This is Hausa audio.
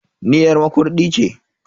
Ni yar Makurdi ce.